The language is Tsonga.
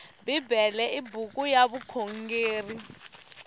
bibele i buku ya vukhongeri